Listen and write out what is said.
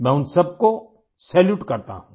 मैं उन सब को सैल्यूट करता हूँ